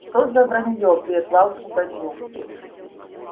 что за вранье прервал пугачёв